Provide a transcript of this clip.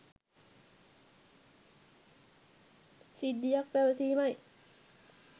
සිද්ධියක් පැවසීමයි.